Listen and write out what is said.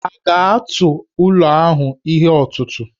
Ha ga-atụ ụlọ ahụ n'ihe ọtụtụ̀?